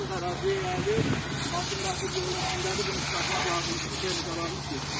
Qardaş, deyə bilərəm ki, inandığımda düzdür ki, əvvəl gələndə düzdür, sonra, baxdığım düzdür ki, o da düzdür, gələn düzdür ki, düzdür.